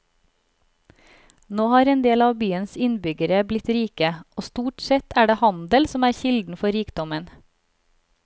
Nå har endel av byens innbyggere blitt rike, og stort sett er det handel som er kilden for rikdommen.